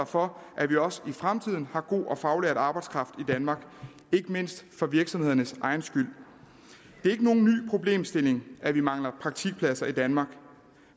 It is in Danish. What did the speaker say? for at vi også i fremtiden har god og faglært arbejdskraft i danmark ikke mindst for virksomhedernes egen skyld det er ikke nogen ny problemstilling at vi mangler praktikpladser i danmark